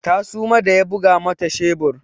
Ta suma da ya buga mata shebur.